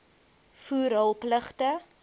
voer hul pligte